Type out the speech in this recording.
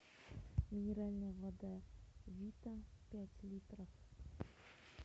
минеральная вода вита пять литров